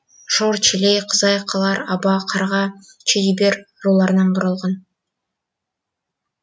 шор челей қызай қалар аба қарға чедибер руларынан құралған